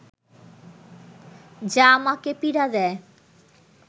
যা আমাকে পীড়া দেয়